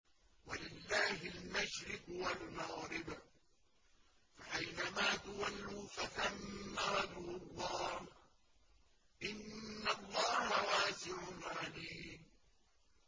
وَلِلَّهِ الْمَشْرِقُ وَالْمَغْرِبُ ۚ فَأَيْنَمَا تُوَلُّوا فَثَمَّ وَجْهُ اللَّهِ ۚ إِنَّ اللَّهَ وَاسِعٌ عَلِيمٌ